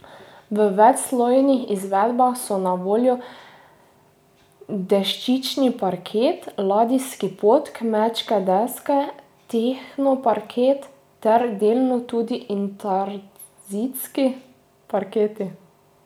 V večslojnih izvedbah so na voljo deščični parket, ladijski pod, kmečke deske, tehno parketi ter delno tudi intarzijski parketi.